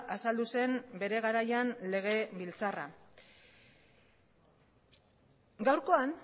azaldu zen bere garaian legebiltzarra gaurkoan